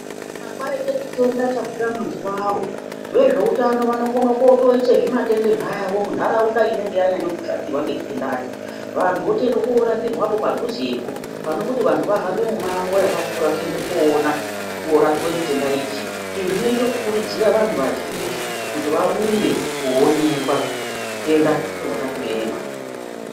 Kana kwaite chitenda chabuda mazuwawo, vezveutano vanokona kotoise zvimatende zvavo munharaunda inenge yanyanya kushatirwa ngechitendacho, vantu votoenda korapirwapo padhuzepo panekuti vantu vahambe mumango wakakura kuendà koona korapiwa chitenda ichi. Izvi zvinoita kukurudzira vantu vazhinji kuti varumbe koonekwa, chitenda chobva chatoema.